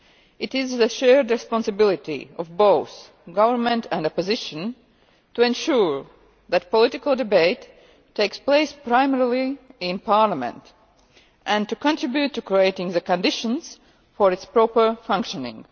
It is the shared responsibility of both government and opposition to ensure that political debate takes place primarily in parliament and to contribute to creating the conditions for its proper functioning.